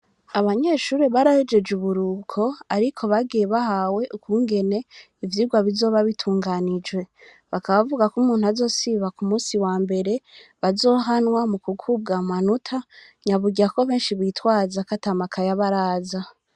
Abanyeshure barahejeje uburuhuko ariko bagiye bahawe ukungene ivyirwa bizoba bitunganijwe bakaba bavugako umuntu azosiba ku musi wambere bazohanwa mu gukurwa amanotana burya ko beshi bitwaza ko atamakaye aba araza.